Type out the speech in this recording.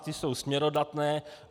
Ty jsou směrodatné.